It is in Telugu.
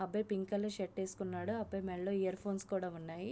అబ్బాయి పింక్ కలర్ షర్ట్ వేసుకున్నాడు. ఆ అబ్బాయి మెడలో ఇయర్ ఫోన్స్ కూడా ఉన్నాయి.